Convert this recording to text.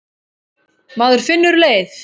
Maður finnur leið.